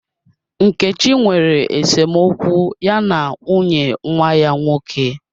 Nkechi nwere esemokwu ya na nwunye nwa ya nwoke.